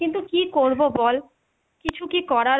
কিন্তু কী করবো বল? কিছু কী করার,